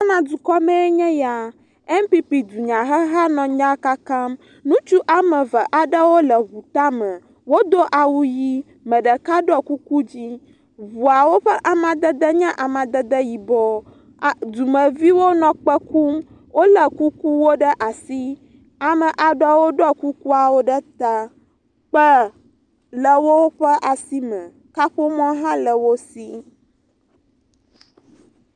Ghana dukɔme enye ya, NPP dunyaheha nɔ nya kakam. Ŋutsu woame eve nɔ ŋu tame. Wodo awu ʋi, ame ɖeka ɖɔ kuku dzɛ̃. Ŋuawo ƒe amadede nye amadede yibɔ eer dumeviwo nɔ kpe kum. Wolé kukuwo ɖe asi, ame aɖewo ɖɔ kukua ɖe ta. Kpẽ le woƒe asi me. Kaƒomɔ hã le wo si.